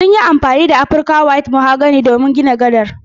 Sun yi amfani da Afrika white mahogany don gina gadar